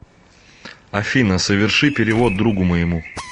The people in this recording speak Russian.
афина соверши перевод другу моему